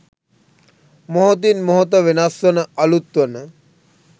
මොහොතින් මොහොත වෙනස් වන අලුත් වන